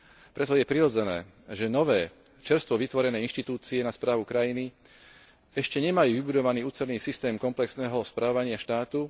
Preto je prirodzené, že nové, čerstvo vytvorené inštitúcie na správu krajiny ešte nemajú vybudovaný ucelený systém komplexného správania štátu.